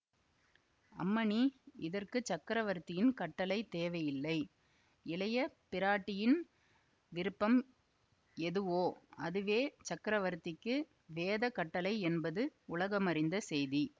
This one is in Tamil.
அம்மணி இதற்கு சக்கரவர்த்தியின் கட்டளை தேவையில்லை இளைய பிராட்டியின் விருப்பம் எதுவோ அதுவே சக்கரவர்த்திக்கு வேதக் கட்டளை என்பது உலகமறிந்த செய்தி